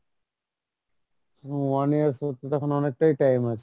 one year সে তো এখন অনেকটাই time আছে